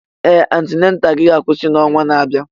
Ee! Antenataalụ gị ga-akwụsị n'ọnwa na-abịa.